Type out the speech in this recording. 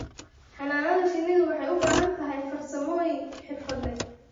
Xannaanada shinnidu waxay u baahan tahay farsamooyin xirfad leh.